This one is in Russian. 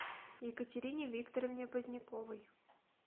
екатерине викторовне поздняковой